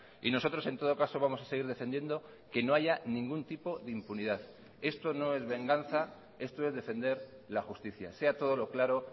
y nosotros en todo caso vamos a seguir defendiendo que no haya ningún tipo de impunidad esto no es venganza esto es defender la justicia sea todo lo claro